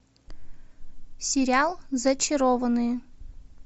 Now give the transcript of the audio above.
сериал зачарованные